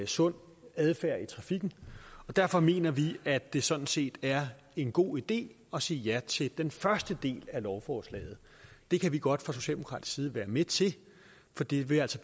sund adfærd i trafikken er derfor mener vi at det sådan set er en god idé at sige ja til den første del af lovforslaget det kan vi godt fra socialdemokratisk side være med til for det vil altså